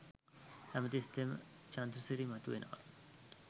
හැමතිස්සෙම චන්ද්‍රසිරි මතුවෙනවා